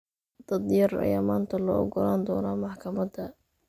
Dad yar ayaa maanta loo ogolaan doonaa maxkamada.